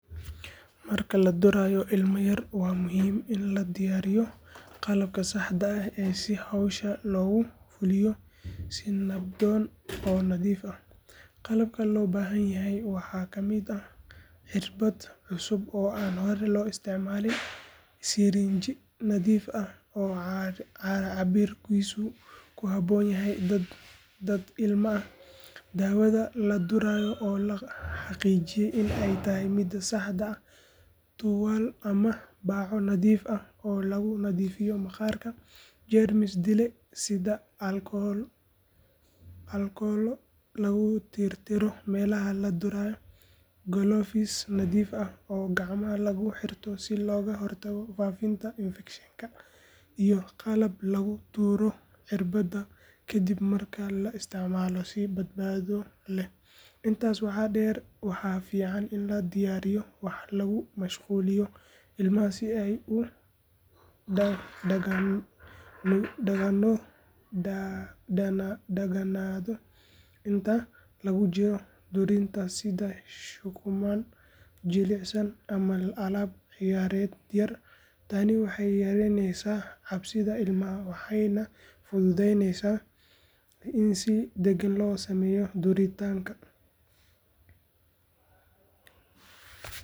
Marka la durayo ilmo yar waa muhiim in la diyaariyo qalabka saxda ah si hawsha loogu fuliyo si nabdoon oo nadiif ah. Qalabka loo baahan yahay waxaa ka mid ah cirbad cusub oo aan hore loo isticmaalin, sirinji nadiif ah oo cabbirkiisu ku habboon yahay da'da ilmaha, daawada la durayo oo la xaqiijiyey in ay tahay mida saxda ah, tuwaal ama baco nadiif ah oo lagu nadiifiyo maqaarka, jeermis dile sida aalkolo lagu tirtiro meelaha la durayo, galoofis nadiif ah oo gacmaha lagu xirto si looga hortago faafitaanka infekshanka, iyo qalab lagu tuuro cirbadda kadib marka la isticmaalo si badbaado leh. Intaas waxaa dheer, waxaa fiican in la diyaariyo wax lagu mashquuliyo ilmaha si uu u daganaado inta lagu jiro duritaanka, sida shukumaan jilicsan ama alaab ciyaareed yar. Tani waxay yaraynaysaa cabsida ilmaha waxayna fududaynaysaa in si degan loo sameeyo duritaanka.